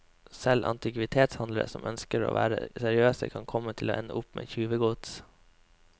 Selv antikvitetshandlere som ønsker å være seriøse, kan komme til å ende opp med tjuvegods.